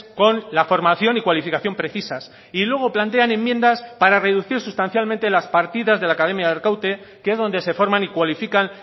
con la formación y cualificación precisas y luego plantean enmiendas para reducir sustancialmente las partidas de la academia de arkaute que es donde se forman y cualifican